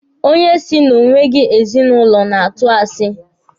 Onye si na o nweghị ezinụlọ na-atụ asi.